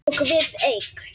Og við eig